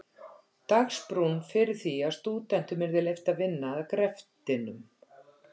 Dagsbrún fyrir því að stúdentum yrði leyft að vinna að greftinum.